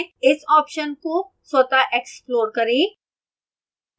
इस option का स्वतः explore करें